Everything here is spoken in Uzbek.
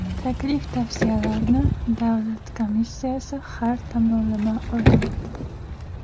Taklif-tavsiyalarni davlat komissiyasi har tomonlama o‘rganadi.